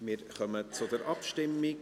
Wir kommen zur Abstimmung.